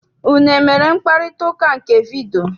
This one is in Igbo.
Unu emere mkparịtaụka nke vidiyio?